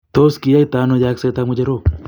Tos kiyoito ano yegset ab ngecherok.